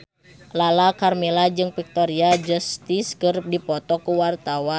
Lala Karmela jeung Victoria Justice keur dipoto ku wartawan